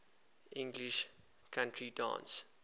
english country dance